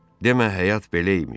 Demə həyat belə imiş.